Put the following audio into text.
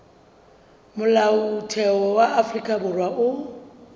molaotheo wa afrika borwa o